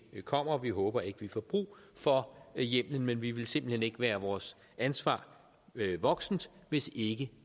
kommer vi håber ikke at vi får brug for hjemmelen men vi ville simpelt hen ikke være vores ansvar voksent hvis ikke